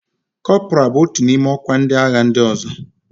Kọpra bụ otu n'ime ọkwa ndị agha ndị ọzọ.